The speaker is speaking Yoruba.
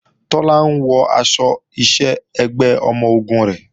Tọ́lá ń wọ aṣọ iṣẹ́ ẹgbẹ́ ọmọ-ogun rẹ̀